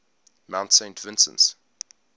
mount saint vincent